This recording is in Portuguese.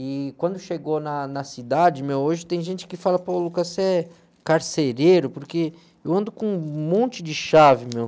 E quando chegou na, na cidade, meu, hoje tem gente que fala, pô, Lucas, você é carcereiro, porque eu ando com um monte de chave, meu.